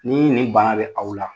Ni nin bana bɛ aw la,